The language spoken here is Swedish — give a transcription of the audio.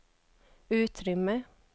utrymme